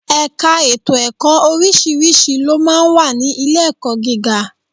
Ẹ̀ka ètò ẹ̀kọ́ oríṣiríṣi ló máa ń wà ní ilé-ẹ̀kọ́ gíga